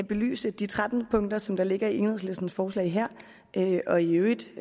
belyst de tretten punkter som der ligger i enhedslistens forslag her og i øvrigt